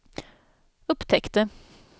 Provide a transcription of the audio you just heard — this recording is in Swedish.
upptäckte